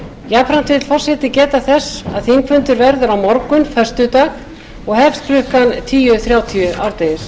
jafnvel vill forseti geta þess að þingfundur verður á morgun föstudag og hefst klukkan tíu þrjátíu árdegis